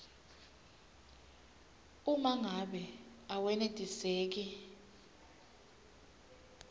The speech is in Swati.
uma ngabe awenetiseki